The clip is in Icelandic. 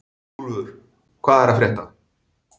Úlfur, hvað er að frétta?